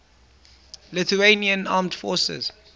lithuanian armed forces